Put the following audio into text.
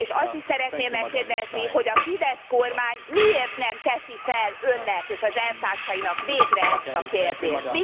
És azt is szeretném megkérdezni, hogy a Fidesz kormány miért nem teszi fel önnek és az elvtársainak végre ezt a kérdést?